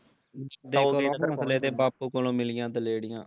ਦੋਗਲੇ ਹੋਸਲੇ ਤੇ ਬਾਪੂ ਕੋਲੋਂ ਮਿਲੀਆਂ ਦਲੇਰੀਆਂ